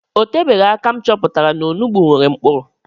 O tebeghi aka m chọpụtara na onugbu nwere nkpuru